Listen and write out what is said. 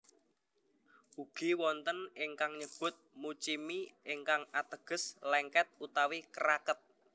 Ugi wonten ingkang nyebut muchimi ingkang ateges lèngkèt utawi kraket